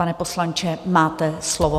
Pane poslanče, máte slovo.